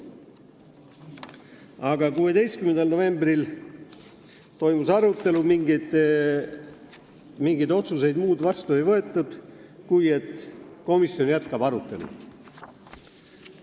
Aga 16. novembril toimus arutelu, mingeid muid otsuseid vastu ei võetud kui see, et komisjon jätkab arutelu.